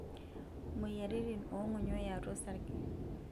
Moyiaritin oong'onyo yaatua osarge.